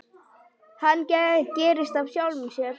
Hann gerist af sjálfu sér.